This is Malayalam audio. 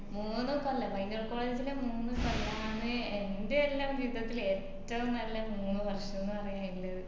മൂന്ന് പയ്യന്നൂർ college ല് മൂന്ന് കൊല്ലാന് എൻറെല്ലാം ജീവിതത്തില് ഏറ്റവും നല്ല മൂന്ന് വർഷം ന്ന് പറയാനില്ലത്